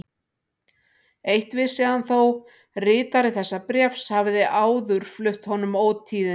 Eitt vissi hann þó: ritari þessa bréfs hafði áður flutt honum ótíðindi.